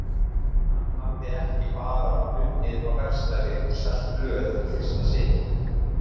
Hann hafði ekki bara unnið á verkstæði og selt blöð í fyrsta sinn.